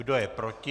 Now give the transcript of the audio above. Kdo je proti?